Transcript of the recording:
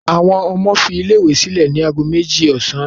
Àwọn ọmọ fi ilé-ìwé sílẹ̀ ní ago méjì ọ̀sán lánàá.